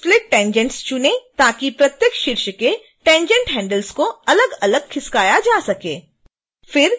split tangents चुनें ताकि प्रत्येक शीर्ष के tangent handles को अलगअलग खिसकाया जा सके